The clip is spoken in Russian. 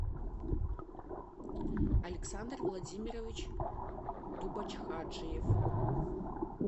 александр владимирович дубочхаджиев